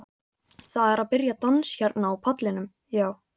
Það er að byrja dans hérna á pallinum, já.